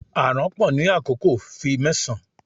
A aranpo ni akoko, fi mẹsan